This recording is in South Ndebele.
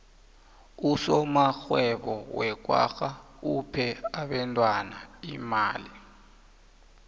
usomarhwebo wekwagga uphe abentwana imali